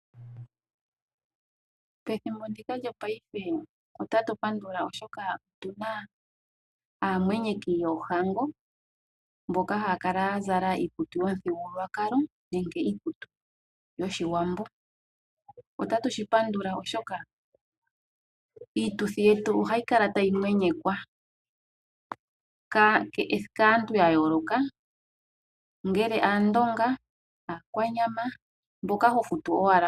Pethimbo ndika lyo paife otati pandula oshoka otuna aamwenyeki yoohago mboka haa kala ya zala iikutu yomuthigululwakalo nenge iikutu yoshiwambo. Otatu shi pandula oshoka iituthi yetu ohayi kala tayi mwenyekwa kaantu yayooloka ngele Aakwanya, Aandonga mboka ho futu owala.